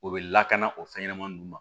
U bɛ lakana o fɛnɲɛnɛmanin ninnu ma